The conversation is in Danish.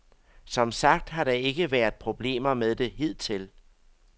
Som sagt har der ikke været problemer med det hidtil.